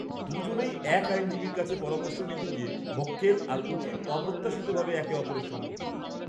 দু'জনেই একই আইনজীবীর কাছে পরামর্শ নিতে গিয়ে মক্কেল আর উকিল অপ্রত্যাশিতভাবে একে অপরের সম্মুখীন হয়।